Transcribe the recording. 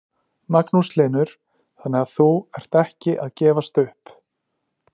Magnús Hlynur: Þannig að þú ert ekki að gefast upp?